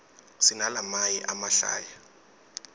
sinalamaye emahlaya